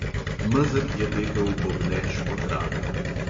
Mezeg je tekel bobneč po travi.